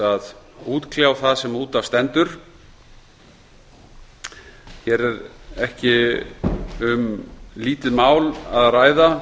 að útkljá það sem út af stendur hér er ekki um lítið mál að ræða